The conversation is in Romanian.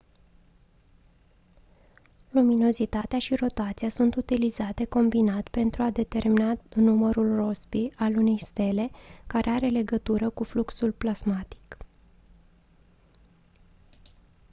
luminozitatea și rotația sunt utilizate combinat pentru a determina numărul rossby al unei stele care are legătură cu fluxul plasmatic